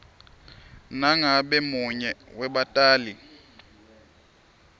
nangabe munye webatali